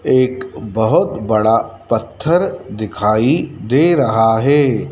एक बहोत बड़ा पत्थर दिखाई दे रहा है।